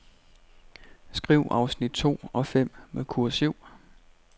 Skriv afsnit to og fem med kursiv.